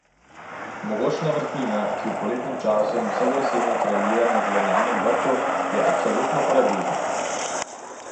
Mogočna vrtnina, ki v poletnem času in vse do jeseni kraljuje na zelenjavnem vrtu, je absolutno paradižnik.